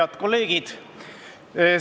Head kolleegid!